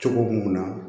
Cogo mun na